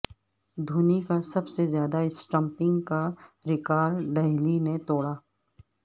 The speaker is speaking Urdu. دھونی کا سب سے زیادہ اسٹمپنگ کا ریکار ڈہیلی نے توڑ ا